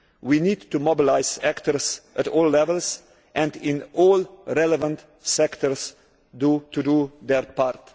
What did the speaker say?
We need to mobilise actors at all levels, and in all relevant sectors, to do their part.